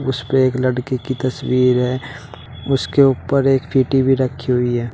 उस पे एक लड़की की तस्वीर है उसके ऊपर एक भी रखी हुई है।